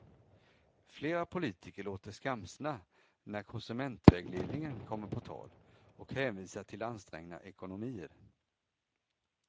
Flera politiker låter skamsna när konsumentvägledningen kommer på tal och hänvisar till ansträngda ekonomier.